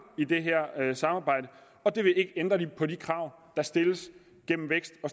i det her samarbejde og det vil ikke ændre på de krav der stilles gennem vækst og